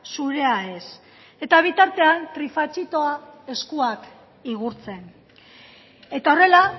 zurea ez eta bitartean trifatxitoa eskuak igurtzen eta horrela